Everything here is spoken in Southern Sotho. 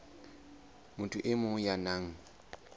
motho e mong ya nang